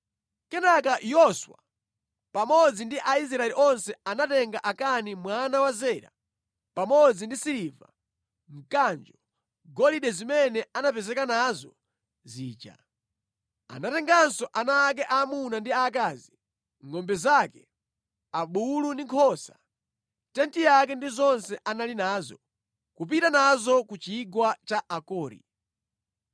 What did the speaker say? Kenaka Yoswa pamodzi ndi Aisraeli onse anatenga Akani mwana wa Zera pamodzi ndi siliva, mkanjo, golide zimene anapezeka nazo zija. Anatenganso ana ake aamuna ndi aakazi, ngʼombe zake, abulu ndi nkhosa, tenti yake ndi zonse anali nazo, kupita nazo ku chigwa cha Akori.